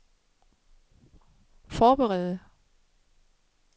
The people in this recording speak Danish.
forberede